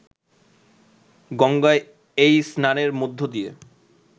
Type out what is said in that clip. গঙ্গায় এই স্নানের মধ্য দিয়ে